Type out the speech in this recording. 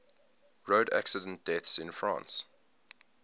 road accident deaths in france